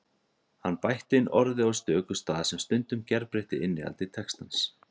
Hann bætti inn orði á stöku stað sem stundum gerbreytti innihaldi textans.